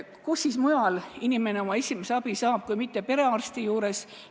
Kust mujalt saab inimene oma esimese abi kui mitte perearsti juurest.